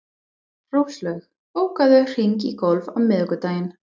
Róslaug, bókaðu hring í golf á miðvikudaginn.